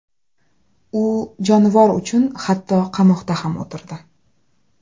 U jonivor uchun hatto qamoqda ham o‘tirdi.